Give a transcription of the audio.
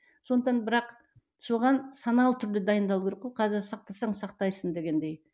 сондықтан бірақ соған саналы түрде дайындалу керек қой сақтансаң сақтайсың дегендей